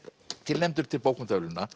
tilnefndur til bókmenntaverðlauna